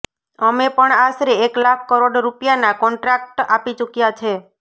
અમે પણ આશરે એક લાખ કરોડ રૂપિયાના કોન્ટ્રાક્ટ આપી ચુક્યા છે